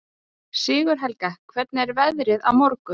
Sigurhelga, hvernig er veðrið á morgun?